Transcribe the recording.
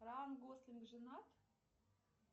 райан гослинг женат